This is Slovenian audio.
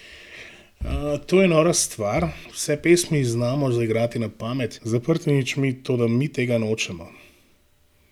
To je nora stvar, vse pesmi znamo zaigrati na pamet, z zaprtimi očmi, toda mi tega nočemo.